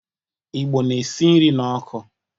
Igbo na esi nri n'ọkụ.